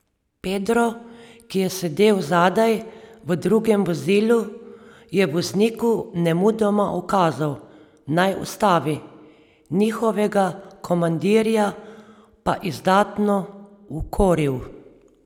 Pedro, ki je sedel zadaj, v drugem vozilu, je vozniku nemudoma ukazal, naj ustavi, njihovega komandirja pa izdatno ukoril.